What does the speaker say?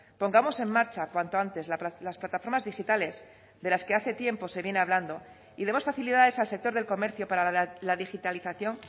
pongamos en marcha cuanto antes las plataformas digitales de las que hace tiempo se viene hablando y demos facilidades al sector del comercio para la digitalización